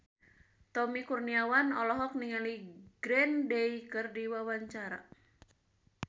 Tommy Kurniawan olohok ningali Green Day keur diwawancara